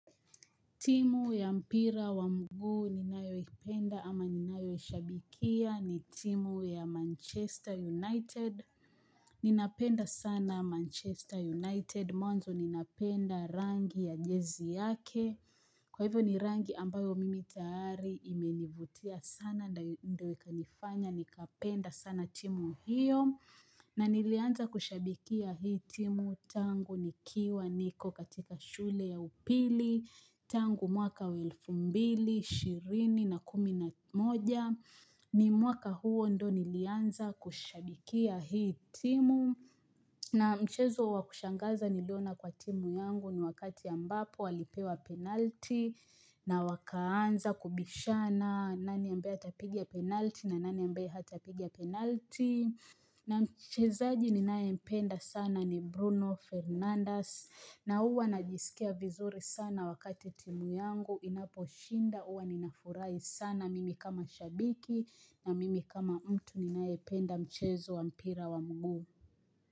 Timu ya mpira wa mguu ninayoi penda ama ninayo ishabikia ni timu ya Manchester United. Ninapenda sana Manchester United, mwanzo ninapenda rangi ya jezi yake, kwa hivyo ni rangi ambayo mimi tayari imenivutia sana na ndo ikanifanya, nikapenda sana timu hiyo. Na nilianza kushabikia hii timu tangu nikiwa niko katika shule ya upili tangu mwaka wa elfumbili, shirini na kumi na moja ni mwaka huo ndo nilianza kushabikia hii timu na mchezo wakushangaza niliona kwa timu yangu ni wakati ambapo walipewa penalti na wakaanza kubishana nani ambaye atapiga penalti na nani ambaye hatapiga penalti. Na mchezaji ninae mpenda sana ni Bruno Fernandes na huwa najisikia vizuri sana wakati timu yangu inapo shinda uwa ninafurahi sana mimi kama shabiki na mimi kama mtu ninae penda mchezo wa mpira wa mguu.